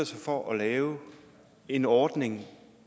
sig for at lave en ordning